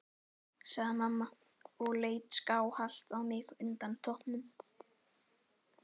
sagði mamma og leit skáhallt á mig undan toppnum.